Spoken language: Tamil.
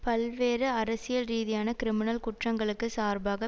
பல்வேறு அரசியல்ரீதியான கிரிமினல் குற்றங்களுக்கு சார்பாக